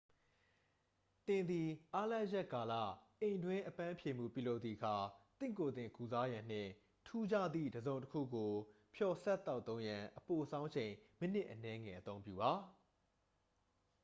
သင်သည် အားလပ်ရပ်ကာလ အိမ်တွင်းအပန်းဖြေမှုပြုလုပ်သည့်အခါ သင့်ကိုယ်သင် ကုစားရန်နှင့် ထူးခြားသည့် တစ်စုံတစ်ခုကို ဖျော်စပ်သောက်သုံးရန် အပိုဆောင်းအချိန် မိနစ်အနည်းငယ် အသုံးပြုပါ